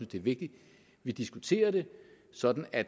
det er vigtigt at vi diskuterer det sådan at